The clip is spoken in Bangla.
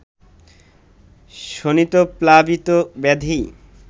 শোণিতপ্লাবিত ব্যাধি